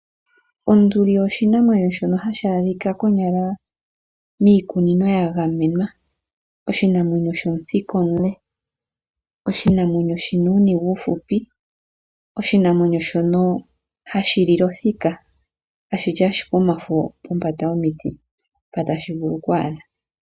Onduli oshinamwenyo shono hashi adhika konyala miikunino yiinamwenyo mbyoka ya gamenwa. Oshinamwenyo shomuthika omule, oshinamwenyo shi na uuniga uuhupi, oshinamwenyo shono ha shi li le othika, ha shi li ashike omafo kombanda yomiti mpono tashi vulu oku adha.